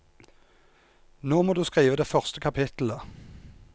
Nå må du skrive det første kapitlet.